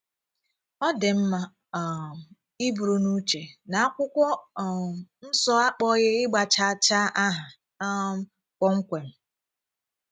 Ọ dị mma um iburu n’uche na Akwụkwọ um Nso akpọ̀ghị ígba chàà chàà aha um kpọmkwem.